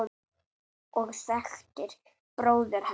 og þekktir bróður hennar.